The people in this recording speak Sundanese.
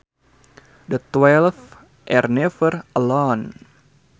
The twelve are never alone